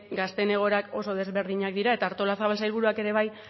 gazteen egoerak oso desberdinak dira eta artolazabal sailburuak ere bai